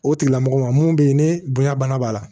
O tigilamɔgɔ ma mun bɛ yen ne bonya bana b'a la